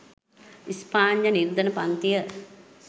ස්පාඤ්ඤ නිර්ධන පන්තිය